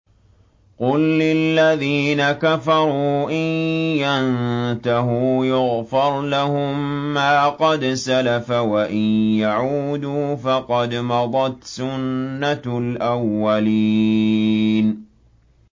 قُل لِّلَّذِينَ كَفَرُوا إِن يَنتَهُوا يُغْفَرْ لَهُم مَّا قَدْ سَلَفَ وَإِن يَعُودُوا فَقَدْ مَضَتْ سُنَّتُ الْأَوَّلِينَ